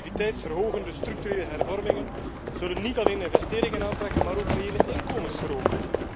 Productiviteitsverhogende structurele hervormingen zullen niet alleen investeringen aantrekken, maar ook reële inkomens verhogen.